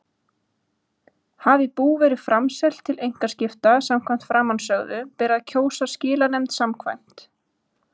Hafi bú verið framselt til einkaskipta samkvæmt framansögðu ber að kjósa skilanefnd samkvæmt